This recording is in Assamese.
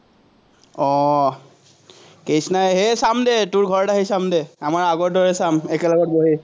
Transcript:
আহ চাম দে তোৰ ঘৰত আহি চাম দে, আমাৰ আগৰ দৰে চাম, একেলগত বহি।